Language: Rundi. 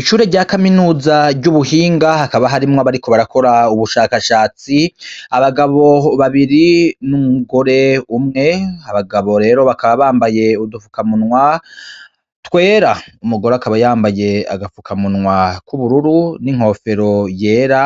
Ishure ry'akaminuza ry'ubuhinga hakaba harimwo abariko barakora ubushakashatsi abagabo babiri n'umugore umwe abagabo rero bakaba bambaye udupfukamunwa twera umugore akaba yambaye agapfukamunwa k'ubururu n'inkofero yera